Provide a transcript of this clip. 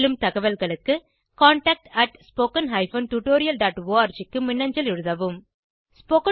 மேலும் தகவல்களுக்கு contactspoken tutorialorg க்கு மின்னஞ்சல் எழுதவும்